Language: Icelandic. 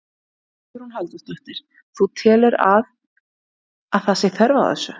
Hugrún Halldórsdóttir: Þú telur að, að það sé þörf á þessu?